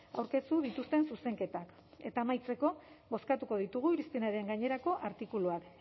aurkeztu dituzten zuzenketak eta amaitzeko bozkatuko ditugu irizpenaren gainerako artikuluak